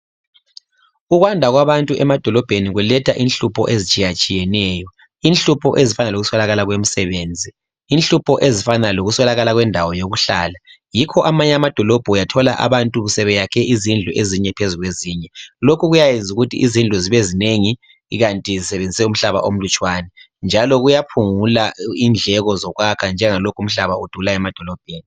Ukwanda kwabantu emadolobheni kuletha inhlupho ezitshiyatshiyeneyo. Inhlupho ezifana lokuswelakala kwemisebenzi, inhlupho ezifana lokuswelakala kwendawo yokuhlala. Yikho amanye amadolobho uyathola abantu sebeyakhe izindlu ezinye phezu kwezinye. Lokhu kuyayenzukuthi izindlu zibe zinengi ikanti zisebenzise umhlaba omlutshwane, njalo kuyaphungula indleko zokwakha njengalokhu umhlaba udula emadolobheni.